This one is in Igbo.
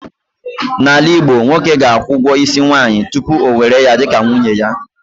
N'ala Igbo, nwoke ga-akwụ ugwo isi nwaanyị tupu ya ewere ya dị ka nwunye ya